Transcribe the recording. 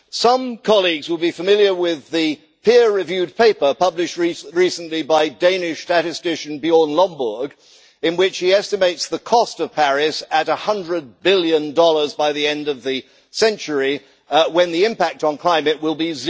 Some colleagues will be familiar with the peer reviewed paper published recently by Danish statistician Bjørn Lomborg, in which he estimates the cost of Paris at USD 100 billion by the end of the century, when the impact on climate will be